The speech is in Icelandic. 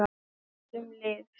SAGT UM LIV